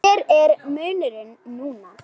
Hver er munurinn núna?